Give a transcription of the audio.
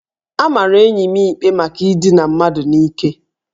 A mara enyi m ikpe maka idina mmadụ n'ike